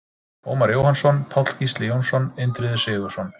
Ómar Jóhannsson, Páll Gísli Jónsson, Indriði Sigurðsson,